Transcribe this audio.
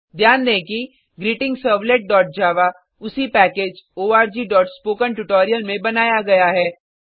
ध्यान दें कि greetingservletजावा उसी पैकेज orgस्पोकेंट्यूटोरियल में बनाया गया है